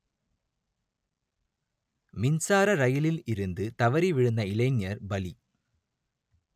மின்சார ரயிலில் இருந்து தவறி விழுந்த இளைஞர் பலி